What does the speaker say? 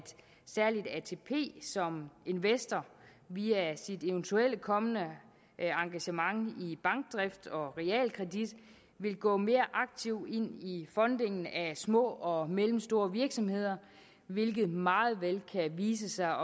særligt atp som investor via sit eventuelle kommende engagement i bankdrift og realkredit vil gå mere aktivt ind i fondingen af små og mellemstore virksomheder hvilket meget vel kan vise sig